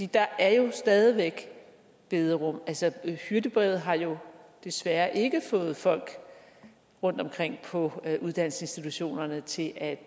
der er jo stadig væk bederum altså hyrdebrevet har jo desværre ikke fået folk rundtomkring på uddannelsesinstitutionerne til at